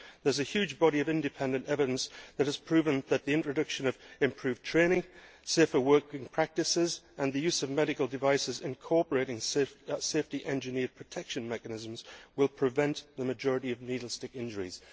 There is a huge body of independent evidence that has proven that the introduction of improved training, safer working practices and the use of medical devices incorporating safety engineered protection mechanisms will prevent the majority of needle stick injuries.